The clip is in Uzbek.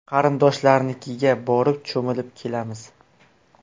Qarindoshlarnikiga borib cho‘milib kelamiz.